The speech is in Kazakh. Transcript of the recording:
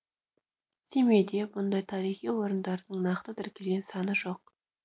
семейде мұндай тарихи орындардың нақты тіркелген саны жоқ